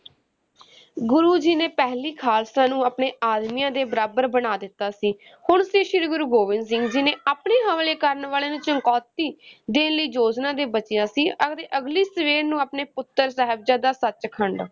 ਗੁਰੂ ਜੀ ਨੇ ਪਹਿਲੀ ਖਾਲਸਾ ਨੂੰ ਆਪਣੇ ਆਦਮੀਆਂ ਦੇ ਬਰਾਬਰ ਬਣਾ ਦਿੱਤਾ ਸੀ, ਹੁਣ ਸੀ ਸ਼੍ਰੀ ਗੁਰੂ ਗੋਬਿੰਦ ਸਿੰਘ ਜੀ ਨੇ ਆਪਣੇ ਹਮਲੇ ਕਰਨ ਵਾਲਿਆਂ ਨੂੰ ਚੁਣੌਤੀ ਦੇਣ ਦੀ ਯੋਜਨਾ ਦੇ ਬਚਿਆ ਸੀ ਅਤੇ ਅਗਲੀ ਸਵੇਰ ਨੂੰ ਆਪਣੇ ਪੁੱਤਰ ਸਾਹਿਬਜ਼ਾਦਾ, ਸਚ ਖੰਡ